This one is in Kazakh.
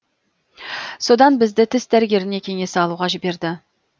содан бізді тіс дәрігеріне кеңес алуға жіберді